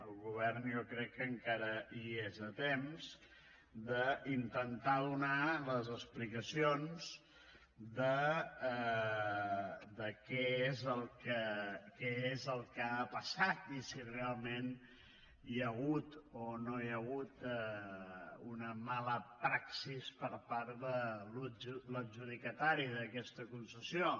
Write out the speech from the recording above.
el govern jo crec que encara hi és a temps d’intentar donar les explicacions de què és el que ha passat i si realment hi ha hagut o no hi ha hagut una mala praxi per part de l’adjudicatària d’aquesta concessió